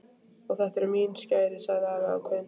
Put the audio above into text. Og þetta eru mín skæri sagði afi ákveðinn.